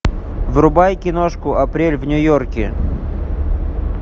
врубай киношку апрель в нью йорке